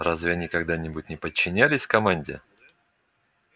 разве они когда-нибудь не подчинялись команде